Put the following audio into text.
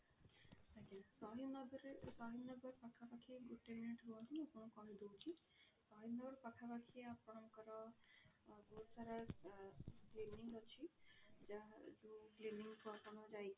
ଆଜ୍ଞା ସହିଦ ନଗରରେ ସହିଦ ନଗର ପାଖା ପାଖି ଗୋଟେ minute ରୁହନ୍ତୁ ମୁଁ ଆପଣଙ୍କୁ କହି ଦଉଛି ସହିଦନଗର ପାଖା ପାଖି ଆପଣଙ୍କର ବହୁତ ସାରା ଆ clinic ଅଛି ଯାହା ଯୋଉ clinic କୁ ଆପଣ ଯାଇକି